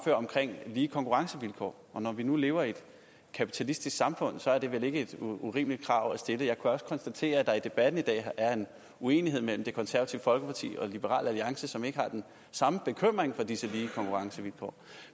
lige konkurrencevilkår og når vi nu lever i et kapitalistisk samfund er det vel ikke et urimeligt krav at stille jeg kan også konstatere at der i debatten i dag er en uenighed mellem det konservative folkeparti og liberal alliance som ikke har den samme bekymring for disse lige konkurrencevilkår